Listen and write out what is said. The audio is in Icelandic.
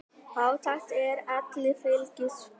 Fátækt er elli fylgispök.